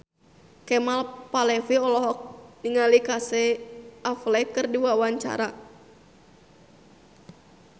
Kemal Palevi olohok ningali Casey Affleck keur diwawancara